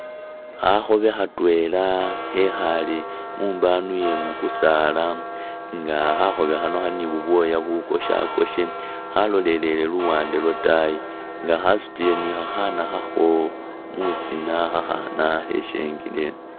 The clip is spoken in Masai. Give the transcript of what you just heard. Khakhoobe khatwela khekhaale mumbanu ye mu kusaala nga khakhoobe khano khali ni bubwoya bukoshakoshe khalolelele luwande lwataayi nga khasutile ni khakhaana khakho musina khakhaana kheshengile eno.